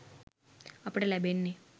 අපට ලැබෙන්නෙ.